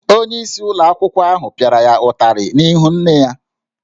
Onyeisi ụlọ akwụkwọ ahụ pịara ya ụtarị n’ihu nne ya